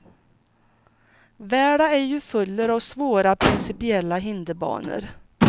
Världen är ju full av svåra principiella hinderbanor.